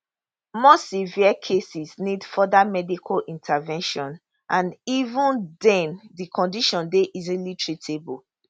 more severe cases need further medical intervention and even den di condition dey easily treatable